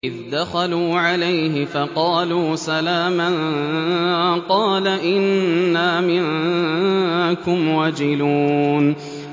إِذْ دَخَلُوا عَلَيْهِ فَقَالُوا سَلَامًا قَالَ إِنَّا مِنكُمْ وَجِلُونَ